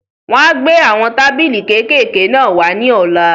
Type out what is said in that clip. Wọ́n á gbé àwọn tábìlì kékèké náà wá ní ọ̀la.